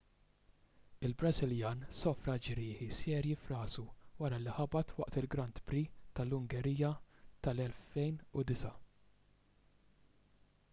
il-brażiljan sofra ġrieħi serji f'rasu wara li ħabat waqt il-grand prix tal-ungerija tal-2009